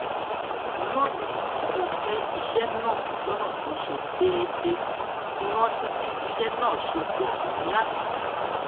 lónìí mo pín iṣé náà lónà tó ṣe deedee mo rántí bí iṣé náà ṣe pò tó lánàá